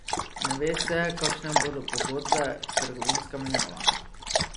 Ne ve se, kakšne bodo pogodbe, trgovinska menjava ...